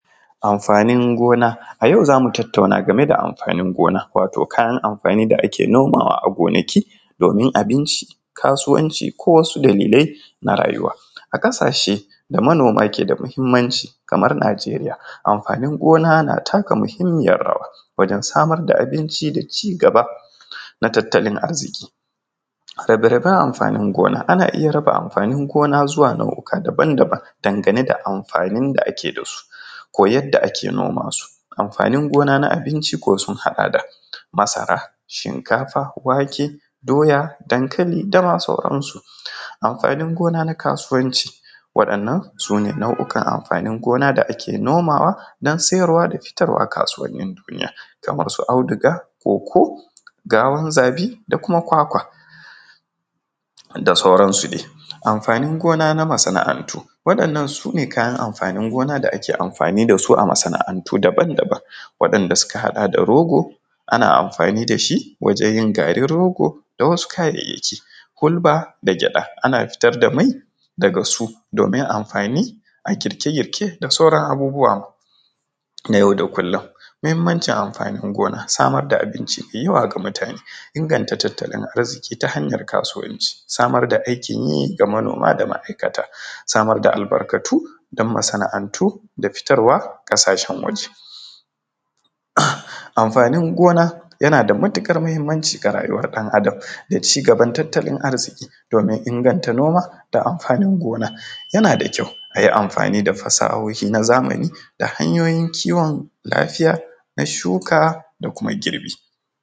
Amfani gona, a yau zamu tattauna game da amfanin gona wato kayan amfani da ake nomawa a gonaki domin abinci kasuwanci ko wasu dalilai na rayuwa, a kasashe da manoma ke da muhimmanci kamar Nijeriya, amfanin gona na taka muhimmiyar rawa wajen samar da abinci da cigaba na tattalin arziki, rabe-raben amfanin gona ana iya raba amfanin gona zuwa nau’oka daban-daban dangane da amfanin da ake da su ko yadda ake noma su, amfanin gona na abinci sun haɗa da masara, shinkafa, wake, doya, dankali dama sauransu, amfanin gona na kasuwanci waɗannan sune nau’okan amfanin gona da ake nomawa don siyarwa da fitarwa kasuwanin duniya kamar su auduga, coco, gawun zabi da kuma kwakwa da sauransu dai, amfanin gona na masana’antu waɗannan sune kayan amfanin gona da ake amfani da su a masana’antu daban-daban waɗanɗa suka haɗa da rogo ana amfani da shi wajen yin garin rogo da wasu kayayyaki, hulɓa da gyaɗa ana fitar da mai daga su domin amfani a girke-girke da sauran abubuwa ma na yau da kullum. Muhimancin amfanin gona, samar da abinci, yiwa ga mutane, inganta tattalin arziki ta hanyar kasuwanci, samar da aikin yi ga manoma da ma’aikata, samar da albarkatu don masana’antu da fitarwa kasashen waje. Amfanin gona yana da matuka muhimmanci ga rayuwar ɗan adam da cigaban tattalin arziki domin inganta noma da amfanin gona, yana da kyau ayi amfani da fasahohi na zamani da hanyoyin kiwon lafiya na shuka da kuma girbi.